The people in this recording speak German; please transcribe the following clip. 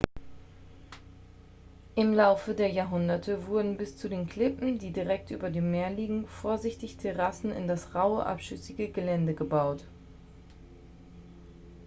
im laufe der jahrhunderte wurden bis zu den klippen die direkt über dem meer liegen vorsichtig terrassen in das raue abschüssige gelände gebaut